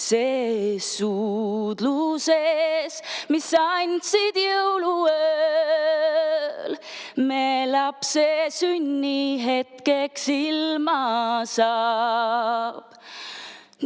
Ses suudluses, mis andsid jõuluööl, me lapse sünni hetkeks ilma saab.